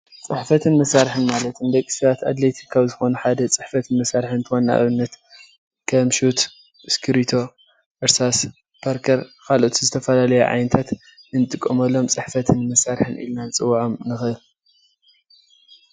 ፅሕፈትን መሳርሕን ማለት ንደቂ ሰባት አድለይቲ ካብ ዝኮኑ ሓደ ፅሕፈት መሳርሒ እንትኮን ንአብነት ከም ሹት፣ እስክርቢቶ፣ እርሳስ፣ ፓርከር ካልኦት ዝተፈላለዩ ዓይነታት እንጥቀመሎም ፅሕፈትን መሳርሕን ኢልና ንፅወዖም ንክእል።